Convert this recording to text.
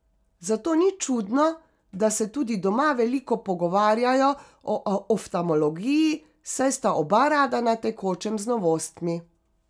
Zato ni čudno, da se tudi doma veliko pogovarjajo o oftamologiji, saj sta oba rada na tekočem z novostmi.